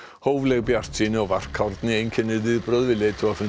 hófleg bjartsýni og varkárni einkennir viðbrögð við leiðtogafundi